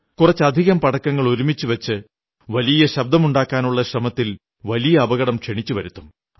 കുറച്ചധികം പടക്കങ്ങൾ ഒരുമിച്ചു വച്ച് വലിയ ശബ്ദമുണ്ടാക്കാനുള്ള ശ്രമത്തിൽ വലിയ അപകടം ക്ഷണിച്ചു വരുത്തും